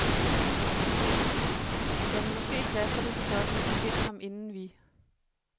Jamen, måske flasker det sig sådan, at de finder ham inden vi.